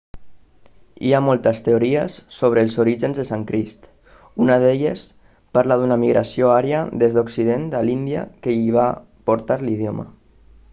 hi ha moltes teories sobre els orígens del sànscrit una d'elles parla d'una migració ària des d'occident a l'índia que hi va portar l'idioma